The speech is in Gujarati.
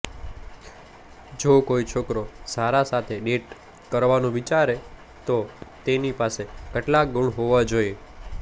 જો કોઈ છોકરો સારા સાથે ડેટ કરવાનું વિચારે તો તેની પાસે કેટલાક ગુણ હોવા જોઈએ